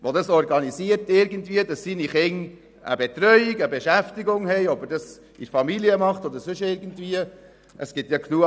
Er muss für seine Kinder eine Betreuung oder eine Beschäftigung durch die Familie oder sonst irgendjemanden organisieren.